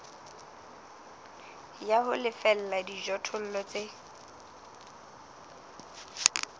ya ho lefella dijothollo tse